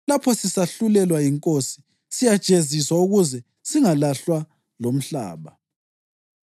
Lapho sisahlulelwa yiNkosi, siyajeziswa ukuze singalahlwa lomhlaba.